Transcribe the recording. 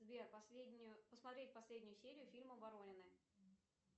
сбер последнюю посмотреть последнюю серию фильма воронины